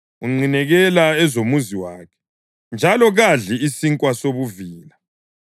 Unqinekela ezomuzi wakhe njalo kadli isinkwa sobuvila.